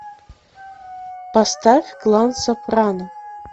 поставь клан сопрано